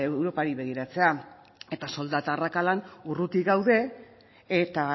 europari begiratzea eta soldata arrakalan urruti gaude eta